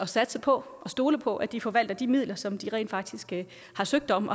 satse på og stole på at de kan forvalte de midler som de rent faktisk har søgt om